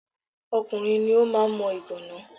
Ọkùnrin ni ó máa ń mọ ìgàná.